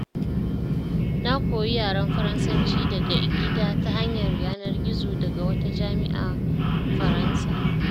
Na koyi yaren Faransanci daga gida ta hanyar yanar-gizo daga wata jami'a Faransa.